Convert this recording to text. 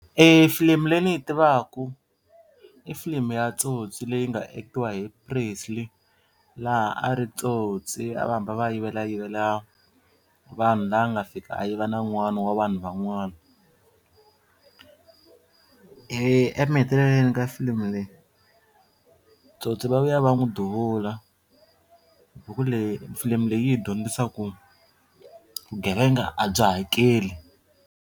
E filimi leyi ni yi tivaku i filimi ya Tsotsi leyi nga act-iwa hi Presley laha a ri tsotsi a va hamba va yivelayivela vanhu laha a nga fika a yiva na n'wana wa vanhu van'wana emahetelelweni ka filimi leyi tsotsi va vuya va n'wi duvula buku leyi filimi leyi hi dyondzisaka ku vugevenga a byi hakeli.